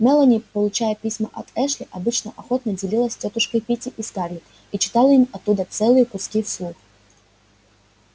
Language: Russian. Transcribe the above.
мелани получая письма от эшли обычно охотно делилась с тётушкой питти и скарлетт и читала им оттуда целые куски вслух